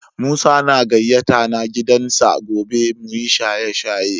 Musa na gayata na gidan sa gobe mu yi shaye-shaye.